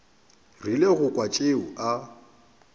rile go kwa tšeo a